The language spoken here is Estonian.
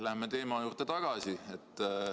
Läheme teema juurde tagasi.